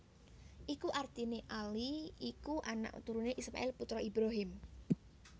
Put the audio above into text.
Iku artiné Ali iku anak turuné Ismail putra Ibrahim